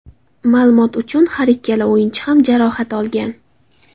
Ma’lumot uchun, har ikkala o‘yinchi ham jarohat olgan.